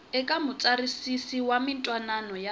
eka mutsarisi wa mintwanano ya